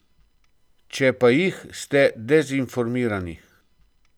Če pa jih, ste dezinformirani.